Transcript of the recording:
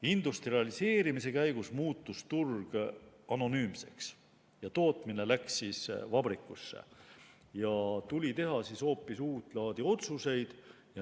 Industrialiseerimise käigus muutus turg anonüümseks, tootmine läks vabrikusse ja tuli teha hoopis uut laadi otsuseid.